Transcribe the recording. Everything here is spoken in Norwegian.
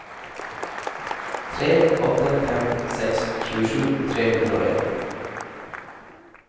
tre åtte fem seks tjuesju tre hundre og en